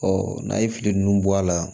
n'a ye fili ninnu bɔ a la